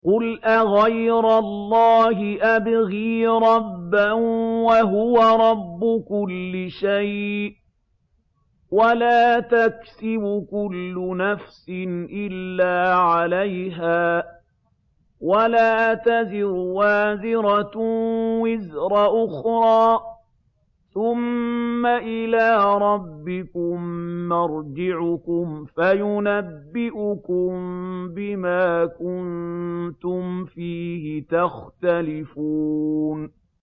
قُلْ أَغَيْرَ اللَّهِ أَبْغِي رَبًّا وَهُوَ رَبُّ كُلِّ شَيْءٍ ۚ وَلَا تَكْسِبُ كُلُّ نَفْسٍ إِلَّا عَلَيْهَا ۚ وَلَا تَزِرُ وَازِرَةٌ وِزْرَ أُخْرَىٰ ۚ ثُمَّ إِلَىٰ رَبِّكُم مَّرْجِعُكُمْ فَيُنَبِّئُكُم بِمَا كُنتُمْ فِيهِ تَخْتَلِفُونَ